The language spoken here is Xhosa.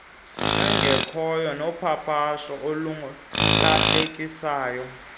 engekhoyo nopapasho olulahlekisayo